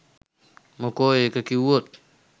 මොකෝ ඒක කිව්වොත්